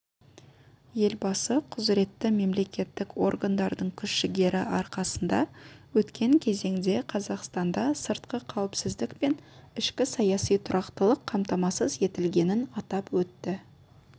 елбасы құзыретті мемлекеттік органдардың күш-жігері арқасында өткен кезеңде қазақстанда сыртқы қауіпсіздік пен ішкі саяси тұрақтылық қамтамасыз етілгенін атап өтті